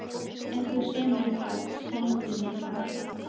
Ef þú semur eitthvað, sendu mér það þá.